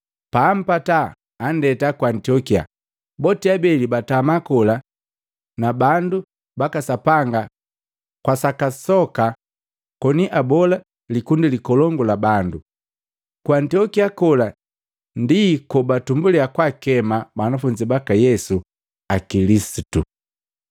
Paampata, anndeta ku Antiokia. Boti abeli batama kola nabandu baka Sapanga kwa saka soka koni abola likundi likolongu la bandu. Ku Antiokia kola ndi kobatumbulya kwakema banafunzi baka Yesu, akilisitu.